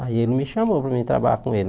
Aí ele me chamou para eu trabalhar com ele.